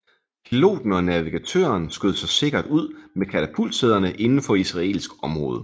Piloten og navigatøren skød sig sikkert ud med katapultsæderne indenfor israelsk område